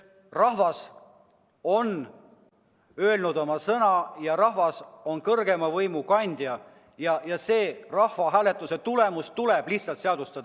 Rahvas on öelnud oma sõna, rahvas on kõrgeima riigivõimu kandja ja rahvahääletuse tulemus tuleb lihtsalt seadustada.